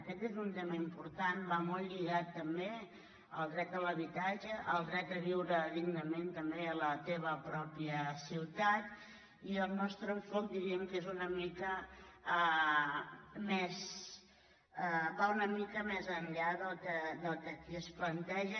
aquest és un tema important va molt lligat també al dret a l’habitatge al dret a viure dig·nament també a la teva pròpia ciutat i el nostre enfoca·ment diríem que va una mica més enllà del que aquí es planteja